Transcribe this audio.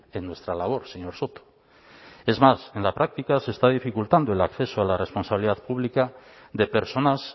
en nuestra labor señor soto es más en la práctica se está dificultando el acceso a la responsabilidad pública de personas